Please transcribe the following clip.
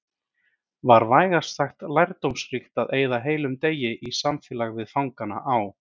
Var vægast sagt lærdómsríkt að eyða heilum degi í samfélagi við fangana á